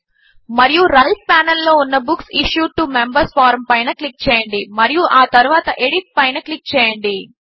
మరియు right panel లో ఉన్న books issued to members form పైన క్లిక్ చేయండి మరియు ఆ తరువాత ఎడిట్ పైన క్లిక్ చేయండి